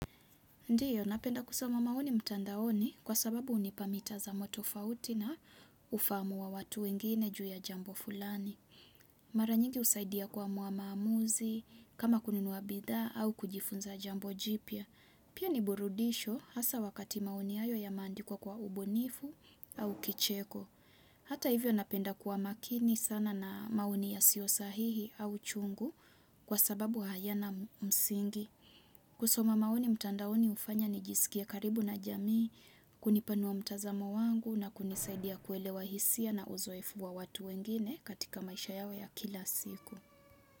Ndiyo, napenda kusoma maoni mtandaoni kwa sababu hunipa mitazamo tofauti na ufahamu wa watu wengine juu ya jambo fulani. Mara nyingi husaidia kuamua maamuzi, kama kununua bidhaa au kujifunza jambo jipya. Pia ni burudisho hasa wakati maoni hayo yameandikwa kwa ubunifu au kicheko. Hata hivyo napenda kuwa makini sana na maoni ya sio sahihi au chungu kwa sababu hayana msingi. Kusoma maoni mtandaoni hufanya nijisikie karibu na jamii kunipanua mtazamo wangu na kunisaidia kuelewa hisia na uzoefu wa watu wengine katika maisha yao ya kila siku.